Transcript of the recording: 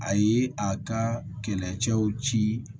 A ye a ka kɛlɛcɛw ci